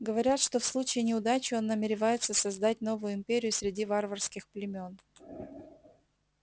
говорят что в случае неудачи он намеревается создать новую империю среди варварских племён